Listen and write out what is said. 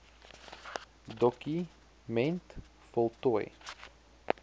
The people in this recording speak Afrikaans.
doku ment voltooi